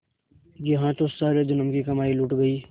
यहाँ तो सारे जन्म की कमाई लुट गयी